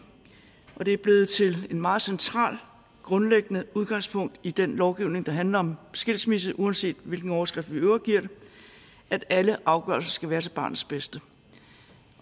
og det er blevet til et meget centralt grundlæggende udgangspunkt i den lovgivning der handler om skilsmisse uanset hvilken overskrift vi i øvrigt giver det at alle afgørelser skal være til barnets bedste